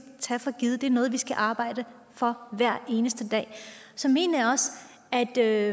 tage for givet det er noget vi skal arbejde for hver eneste dag så mener jeg at der